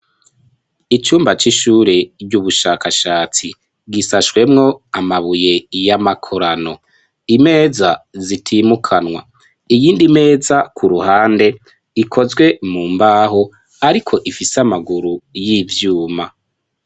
Icumba c'ishure ry'ubushakashatsi, risashwemwo amabuye y'amakorano, imeza zitimukanwa, iyindi meza ku ruhande ikozwe mu mbaho ariko ifise amaguru y'ivyuma.